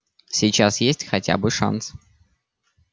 сейчас есть хотя бы шанс